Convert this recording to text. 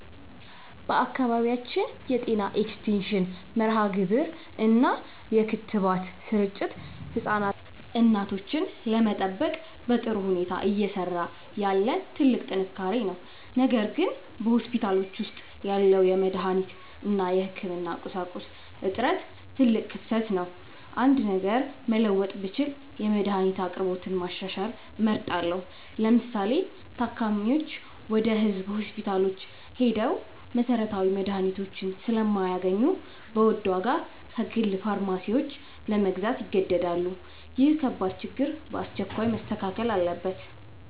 በአካባቢያችን የጤና ኤክስቴንሽን መርሃግብር እና የክትባት ስርጭት ህፃናትንና እናቶችን ለመጠበቅ በጥሩ ሁኔታ እየሰራ ያለ ትልቅ ጥንካሬ ነው። ነገር ግን በሆስፒታሎች ውስጥ ያለው የመድኃኒት እና የህክምና ቁሳቁስ እጥረት ትልቅ ክፍተት ነው። አንድ ነገር መለወጥ ብችል የመድኃኒት አቅርቦትን ማሻሻል እመርጣለሁ። ለምሳሌ፤ ታካሚዎች ወደ ህዝብ ሆስፒታሎች ሄደው መሰረታዊ መድኃኒቶችን ስለማያገኙ በውድ ዋጋ ከግል ፋርማሲዎች ለመግዛት ይገደዳሉ። ይህ ከባድ ችግር በአስቸኳይ መስተካከል አለበት።